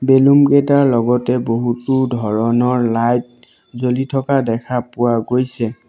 Balloon কেইটাৰ লগতে বহুতো ধৰণৰ লাইট জ্বলি থকা দেখা পোৱা গৈছে।